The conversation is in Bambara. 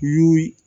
Y y'u